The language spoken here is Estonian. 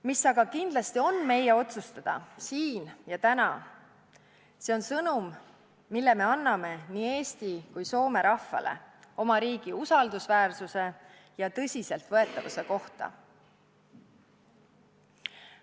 Mis aga kindlasti on meie otsustada, see on sõnum, mille me anname nii Eesti kui ka Soome rahvale oma riigi usaldusväärsuse ja tõsiseltvõetavuse kohta.